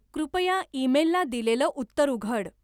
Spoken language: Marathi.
कृपया ईमेलला दिलेलं उत्तर उघड.